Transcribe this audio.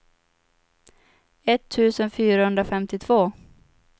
etttusen fyrahundrafemtiotvå